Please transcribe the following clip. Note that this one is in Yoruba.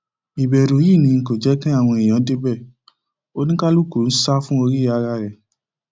ìbẹrù yìí ni kò jẹ kí àwọn èèyàn náà débẹ oníkálukú sá fún orí ara rẹ